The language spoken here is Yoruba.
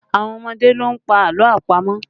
Àwọn ọmọdé ló ń pa àlọ́ àpamọ̀